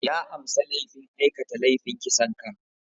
Ya amsa laifin aikata laifin kisan kai.